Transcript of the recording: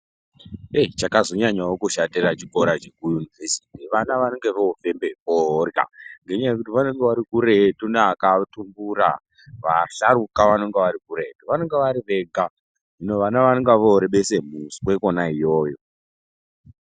Chakazonyanyawo kushatira chikora chekuyunivhesiti vana vanenge vofembe forya ngenyaya yekuti vanenge ari kuretu neakatumbura vasharukwa vanenge vari kuretu, vanenge vari vega hino vana vorebesa muswe iyoyo.